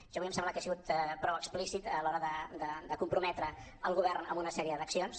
jo avui em sembla que he sigut prou explícit a l’hora de comprometre el govern amb una sèrie d’accions